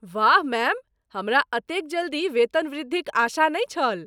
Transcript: वाह, मैम! हमरा एतेक जल्दी वेतनवृद्धिक आशा नहि छल!